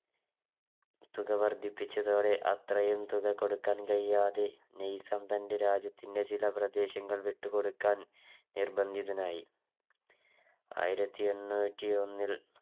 തുക വർദ്ധിപ്പിച്ചതോടെ അത്രയും തുക കൊടുക്കാൻ കഴിയാതെ നൈസാം തൻറെ രാജ്യത്തിൻറെ ചില പ്രദേശങ്ങൾ വിട്ടു കൊടുക്കാൻ നിർബന്ധിതനായി ആയിരത്തി എണ്ണൂറ്റിയൊന്നിൽ